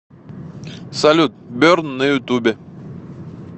салют берн на ютубе